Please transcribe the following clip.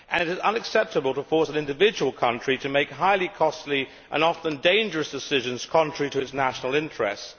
It is unacceptable to force an individual country to make highly costly and often dangerous decisions contrary to its national interests.